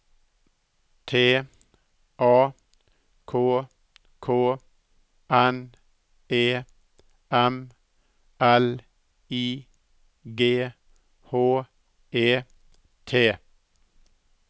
T A K K N E M L I G H E T